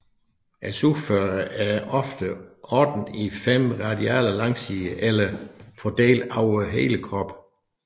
Sugefødderne er ofte ordnet i fem radiale langsider eller fordelte over hele kroppen